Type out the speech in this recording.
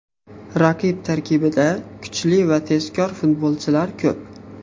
Raqib tarkibida kuchli va tezkor futbolchilar ko‘p.